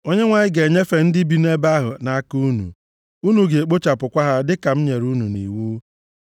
Onyenwe anyị ga-enyefe ndị bi nʼebe ahụ nʼaka unu, unu ga-ekpochapụkwa ha dịka m nyere unu nʼiwu.